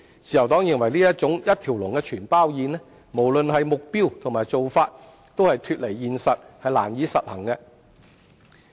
自由黨認為這種"一條龍全包宴"，無論目標還是做法均脫離現實，難以實行。